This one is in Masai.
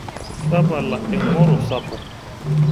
Tapala eng'oro sapuk.